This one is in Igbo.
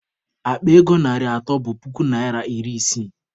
Akpa ego narị atọ bụ puku naịra iri isii